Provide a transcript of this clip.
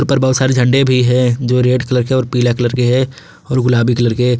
ऊपर बहुत सारे झंडे भी है जो रेड कलर के हैं और पीला कलर के है और गुलाबी कलर के।